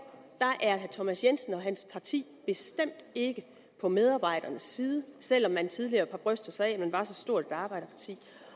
er herre thomas jensen og hans parti bestemt ikke på medarbejdernes side selv om man tidligere har brystet sig af at man var så stort et arbejderparti